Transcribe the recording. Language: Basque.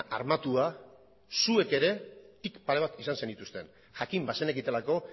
armatua zuek ere tik pare bat izan zenituzten jakin bazenekitelako